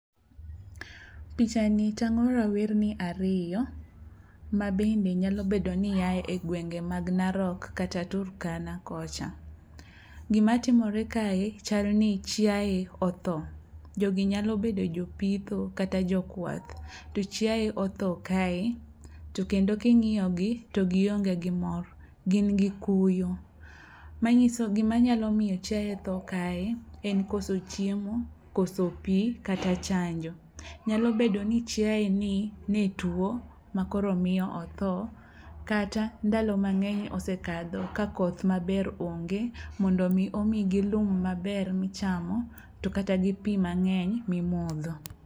Pichani tang'o rawerni ariyo mabende nyalo bedo ni ae gwenge mag Narok kata Turkana kocha. Gimatimotre kae chalni chiaye otho, jogi nyalo bedo jopitho kata jokwath to chiae otho kae to kendo king'iyogi to gionge gi mor gin gi kuyo. Gimanyalo miyo chiaye tho kae en koso chiemo, koso pi kata chanjo. Nyalo bedo ni chiaeni ne tuo makoro miyo otho kata ndalo mang'eny osekadho ka koth maber onge mondo omi omigi lum maber michamo to kata gi pi mang'eny mimodho.